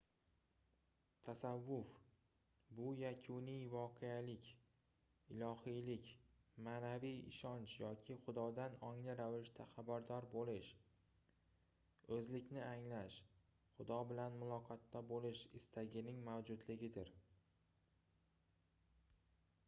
tasavvuf bu yakuniy voqelik ilohiylik maʼnaviy ishonch yoki xudodan ongli ravishda xabardor boʻlish oʻzlikni anglash xudo bilan muloqotda boʻlish istagining mavjudligidir